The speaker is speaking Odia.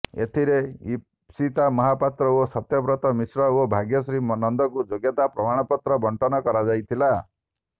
ଏଥିରେ ଇପସିତା ମହାପାତ୍ର ଓ ସତ୍ୟବ୍ରତ ମିଶ୍ର ଓ ଭାଗ୍ୟଶ୍ରୀ ନନ୍ଦଙ୍କୁ ଯୋଗ୍ୟତା ପ୍ରମାଣ ପତ୍ର ବଟଂନ କରାଯାଇଥିଲା